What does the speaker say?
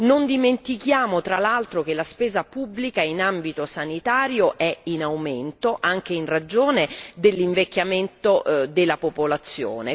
Non dimentichiamo tra l'altro che la spesa pubblica in ambito sanitario è in aumento, anche in ragione dell'invecchiamento della popolazione.